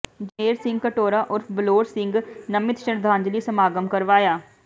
ਜਗਮੇਰ ਸਿੰਘ ਘਟੌੜਾ ਉਰਫ਼ ਬਲੌਰ ਸਿੰਘ ਨਮਿਤ ਸ਼ਰਧਾਂਜਲੀ ਸਮਾਗਮ ਕਰਵਾਇਆ